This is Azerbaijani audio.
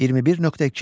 21.2.